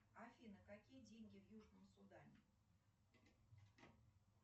афина какие деньги в южном судане